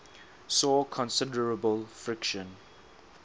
saw considerable friction